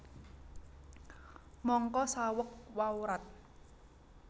Mangka saweg wawrat